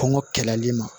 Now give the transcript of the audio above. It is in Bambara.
Kɔngɔ kɛlɛli ma